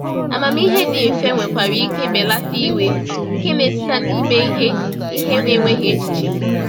Amamihe dị mfe nwekwara ike belata iwe nke na-esite na ime ihe ihe n’enweghị echiche.